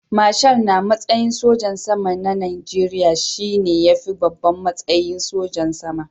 Marshal na matsayin sojan sama na Najeriya shi ne ya fi babban matsayi sojan sama.